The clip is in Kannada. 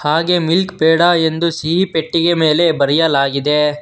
ಹಾಗೆ ಮಿಲ್ಟ್ ಪೇಡ ಎಂದು ಸಿಹಿ ಪೆಟ್ಟಿಗೆ ಮೇಲೆ ಬರೆಯಲಾಗಿದೆ.